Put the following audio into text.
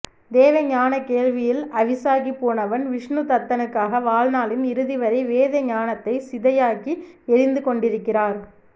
வேத ஞான வேள்வியில் அவிசாகிப் போனவன் விஷ்ணுதத்தனுக்காக வாழ்நாளின் இறுதிவரை வேத ஞானத்தை சிதையாக்கி எரிந்து கொண்டிருக்கிறார்